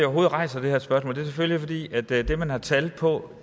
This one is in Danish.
rejser det her spørgsmål er selvfølgelig at det det man har tal på